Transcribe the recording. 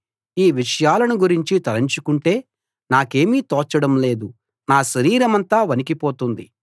ఈ విషయాలను గురించి తలుచుకుంటే నాకేమీ తోచడం లేదు నా శరీరమంతా వణికిపోతుంది